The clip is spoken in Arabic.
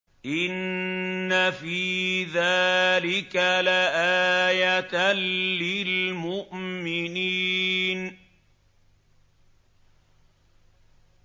إِنَّ فِي ذَٰلِكَ لَآيَةً لِّلْمُؤْمِنِينَ